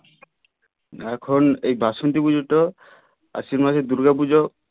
এখন এই বাসন্তী পুজোটা আশ্বিন মাসের দূর্গা পুজো